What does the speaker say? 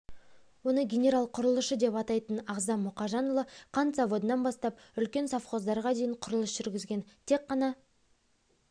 оны генерал-құрылысшы деп атайтын ағзам мұхажанұлы қант заводынан бастап үлкен совхоздарға дейін құрылыс жүргізген тек ғана